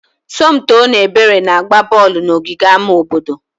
Somto na Ebere na-agba bọọlụ n'ogige ama obodo.